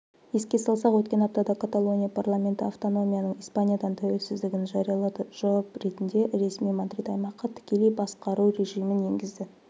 еске салсақ өткен аптада каталония парламенті автономияның испаниядан тәуелсіздігін жариялады жауап ретінде ресми мадрид аймаққа тікелей басқару режимін енгізді